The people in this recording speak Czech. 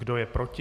Kdo je proti?